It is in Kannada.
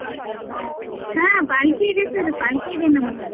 ಹಾ पालकी ಇದೆ sir पालकी ಇದೆ ನಮ್ ಹತ್ರ.